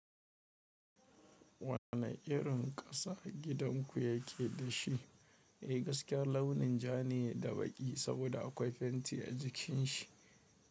Wane irin ƙasa gidan ku yake da shi? Eh gaskiya launin ja ne da baƙi saboda akwai fenti a jikin shi.